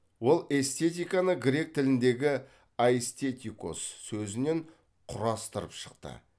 ол эстетиканы грек тіліндегі айстетикос сөзінен құрастырып шықты